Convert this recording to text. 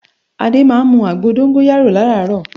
Adé máa ń mu àgbo dóngóyárò láràárò